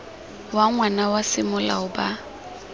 wa ngwana wa semolao ba